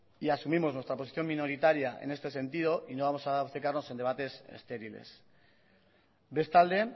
y asumimos nuestra posición minoritaria en este sentido y no vamos a obcecarnos en debates estériles bestalde